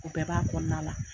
U bɛɛ b'a kɔnɔna la.